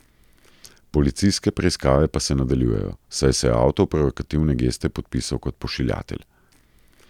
Policijske preiskave pa se nadaljujejo, saj se je avtor provokativne geste podpisal kot pošiljatelj.